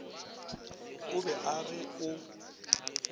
o be a re o